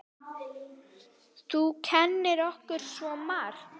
Þú kenndir okkur svo margt.